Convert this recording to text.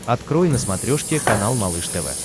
открой на смотрешке канал малыш тв